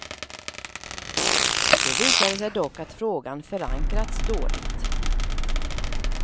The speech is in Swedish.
Det visade sig dock att frågan förankrats dåligt.